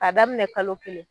K'a daminɛ kalo kelen